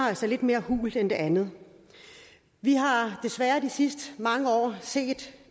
lidt mere hult end det andet vi har desværre de sidste mange år set